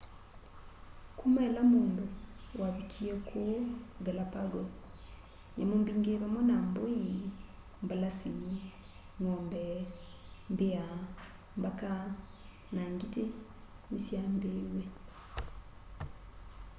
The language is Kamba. kuma ila mundu wavikie kuu galapagos nyamu mbingi vamwe na mbui mbalasi ng'ombe mbia mbaka na ngiti nisyambiiw'e